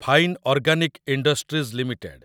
fine organic industries limited